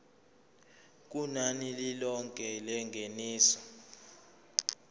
kunani lilonke lengeniso